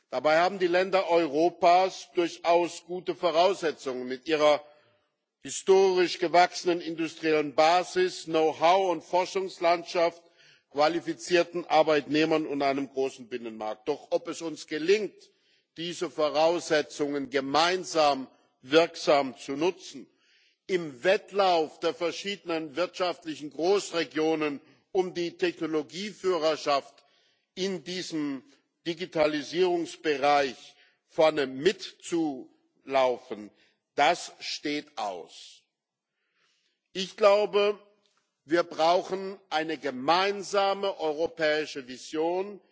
Dabei haben die Länder Europas mit ihrer historisch gewachsenen industriellen Basis, Know how und Forschungslandschaft, qualifizierten Arbeitnehmern und einem großen Binnenmarkt durchaus gute Voraussetzungen. Doch ob es uns gelingt, diese Voraussetzungen gemeinsam wirksam zu nutzen, im Wettlauf der verschiedenen wirtschaftlichen Großregionen um die Technologieführerschaft in diesem Digitalisierungsbereich vorne mitzulaufen, das steht aus. Ich glaube, wir brauchen eine gemeinsame europäische Vision.